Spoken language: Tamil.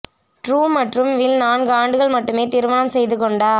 ட்ரூ மற்றும் வில் நான்கு ஆண்டுகள் மட்டுமே திருமணம் செய்து கொண்டார்